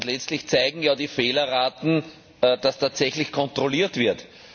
Letztlich zeigen ja die Fehlerraten, dass tatsächlich kontrolliert wird.